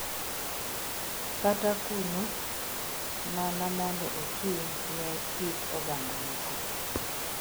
Kata kuno mana mondo ochung’ ne kit oganda moko.